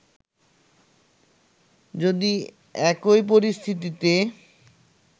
যদি একই পরিস্থিতিতে